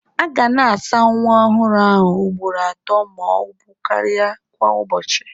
A ga na-asa nwa ọhụrụ ahụ ugboro atọ ma ọ bụ karịa kwa ụbọchị.